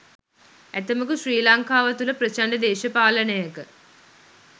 ඇතැමකු ශ්‍රී ලංකාව තුල ප්‍රචණ්ඩ දේශපාලනයක